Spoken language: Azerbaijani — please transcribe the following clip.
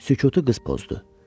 Sükutu qız pozdu.